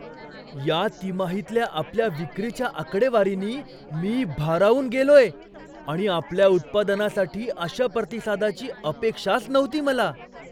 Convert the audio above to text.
या तिमाहीतल्या आपल्या विक्रीच्या आकडेवारीनी मी भारावून गेलोय आणि आपल्या उत्पादनासाठी अशा प्रतिसादाची अपेक्षाच नव्हती मला.